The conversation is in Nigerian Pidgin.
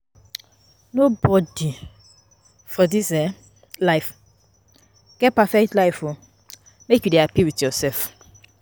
Nobodi for dis um life get perfect life o, make you dey hapi wit yoursef.